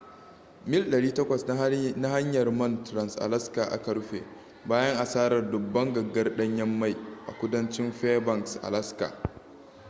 mil 800 na hanyar man trans-alaska aka rufe bayan asarar dubban gangar danyen mai a kudancin fairbanks alaska